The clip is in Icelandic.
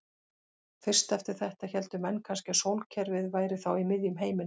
Fyrst eftir þetta héldu menn kannski að sólkerfið væri þá í miðjum heiminum.